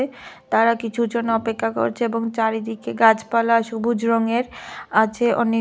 তারা কিছু জন অপেক্ষা করছে এবং চারিদিকে গাছপালা সবুজ রঙের আছে অনেক।